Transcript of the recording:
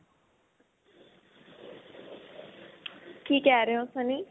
ਕਿ ਕਹਿ ਰਹੇ ਹੋ sunny